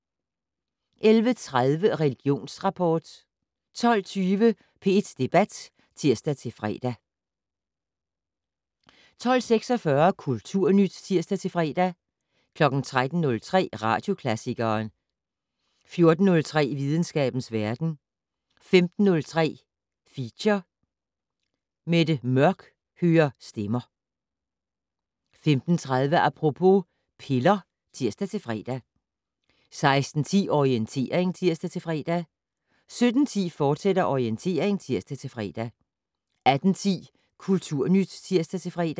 11:30: Religionsrapport 12:20: P1 Debat (tir-fre) 12:46: Kulturnyt (tir-fre) 13:03: Radioklassikeren 14:03: Videnskabens verden 15:03: Feature: Mette Mørch hører stemmer 15:30: Apropos - piller (tir-fre) 16:10: Orientering (tir-fre) 17:10: Orientering, fortsat (tir-fre) 18:10: Kulturnyt (tir-fre)